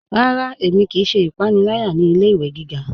Rárá, ẹ̀mi kíí ṣẹ́ ìpànìlàyà ní ilẹ̀-ìwé gígá.